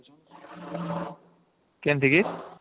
କେନ୍ତି କି